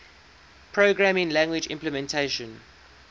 programming language implementation